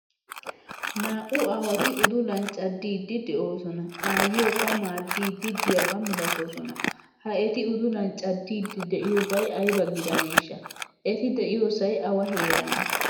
Naa'u aawati udulan caddidi deosona. Aayiyokka madidi deiyaba milatosona. Ha eti udulan cadidi deiyobay ayba gidanesha? Eti deiyosay awa heeranne?